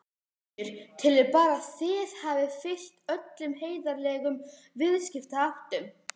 Sigríður: Telurðu bara að þið hafið fylgt öllum heiðarlegum viðskiptaháttum?